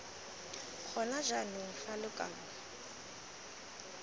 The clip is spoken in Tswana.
gona jaanong fa lo kabo